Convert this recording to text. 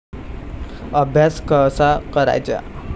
अभ्यास कसा करायचा?